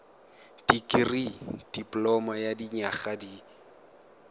dikirii dipoloma ya dinyaga di